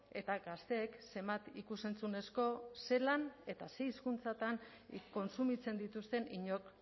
eta gazteek zenbat ikus entzunezko zelan eta zer hizkuntzatan kontsumitzen dituzten inork